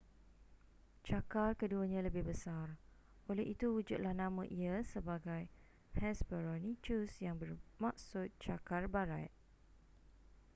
cakar keduanya lebih besar oleh itu wujudlah nama ia sebagai hesperonychus yang bermaksud cakar barat